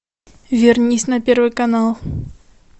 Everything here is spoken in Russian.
вернись на первый канал